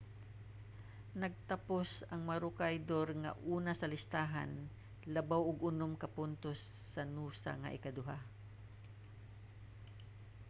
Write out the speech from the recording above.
nagtapos ang maroochydore nga una sa listahan labaw og unom ka puntos sa noosa nga ikaduha